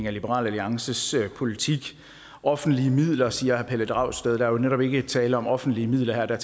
af liberal alliances politik offentlige midler siger herre pelle dragsted der er jo netop ikke tale om offentlige midler her der